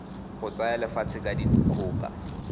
go tsaya lefatshe ka dikgoka